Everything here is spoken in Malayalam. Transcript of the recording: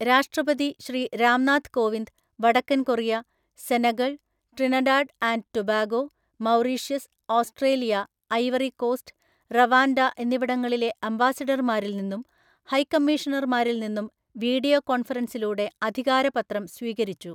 രാഷ്ട്രപതി ശ്രീ രാം നാഥ് കോവിന്ദ് വടക്കന്‍ Korea, Senegal‍, Trinidad and Tobago, Mauritius, Australia, Ivory Coast, Rwanda എന്നിവിടങ്ങളിലെ അംബാസഡര്‍മാരില്‍ നിന്നും ഹൈക്കമ്മീഷണര്‍മാരില്‍ നിന്നും വീഡിയോ കോൺഫറൻസിലൂടെ അധികാരപത്രം സ്വീകരിച്ചു.